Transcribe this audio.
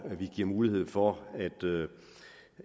vi giver mulighed for